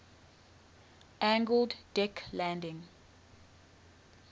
angled deck landing